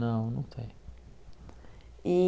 Não, não tenho. E